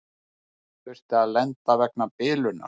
Þurfti að lenda vegna bilunar